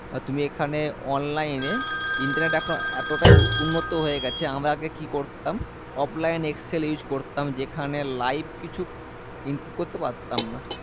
আর তুমি এখানে online এ internet এখন এতটাই উ উন্নত হয়ে গেছে আমরা আগে কি করতাম offline excel use করতাম যেখানে live কিছু input করতে পারতাম না